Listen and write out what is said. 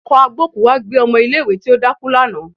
Ọkọ̀ agbókùú wá gbé ọmọ ilé ìwé tí ó dákú lánàá